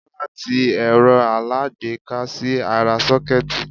Bọ́lá ti ẹ̀rọ aláágbéká sí ara 'sókẹ́ẹ̀tì'